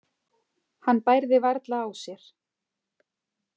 Hann bærði varla á sér.